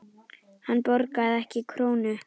Hann borgaði ekki krónu.